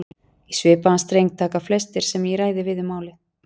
Í svipaðan streng taka flestir sem ég ræði við um málið.